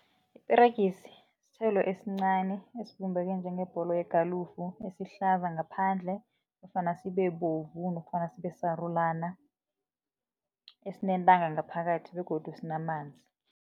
Iperegisi sithelo esincani esibumbeke njengebholo yegalufu esihlaza ngaphandle nofana sibebovu nofana sibesarulana esinentanga ngaphakathi begodu sinamanzi.